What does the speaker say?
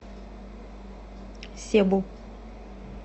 себу